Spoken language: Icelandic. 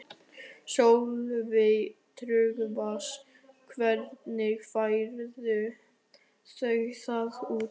Sölvi Tryggvason: Hvernig færð þú það út?